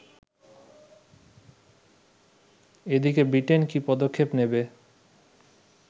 এদিকে ব্রিটেন কী পদক্ষেপ নেবে